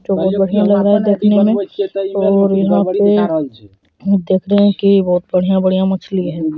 जो बहुत बढ़िया लग रहा है देखने में और यहां पे देख रहे हैं की बहुत बढ़िया-बढ़िया मछली है।